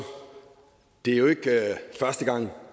det er jo ikke første gang